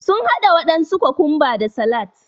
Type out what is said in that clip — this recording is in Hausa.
Sun haɗa waɗansu kokumba da salat